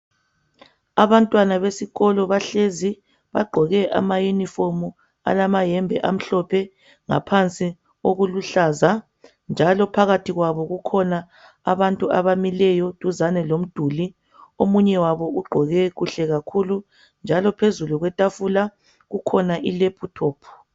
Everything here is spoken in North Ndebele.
Abantwana besikolo bahlezi bagqoke ama Yunifomu, balamayembe amhlophe ngaphansi okuluhlaza, njalo phakathi kwabo kukhona abantu abamileyo eduzane lomduli omunye ugqoke kuhle kakhulu njalo phezulu kwetafula kukhona iLaptop.